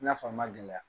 I n'a fɔ a ma gɛlɛya